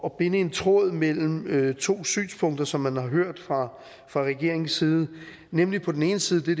at binde en tråd mellem to synspunkter som man har hørt fra regeringens side nemlig på den ene side det